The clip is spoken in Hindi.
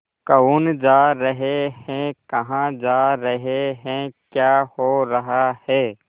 कौन जा रहे हैं कहाँ जा रहे हैं क्या हो रहा है